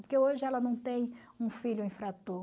Porque hoje ela não tem um filho infrator.